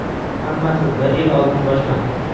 Hammasi bir yil oldin boshlandi.